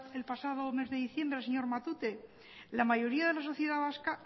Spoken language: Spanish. el pasado mes de diciembre al señor matute la mayoría de la sociedad vasca